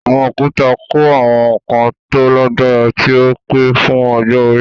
Àwọn òkúta kọ́ àwọn nǹkan tó lágbára tí ó pẹ́ fún ọjọ́ orí.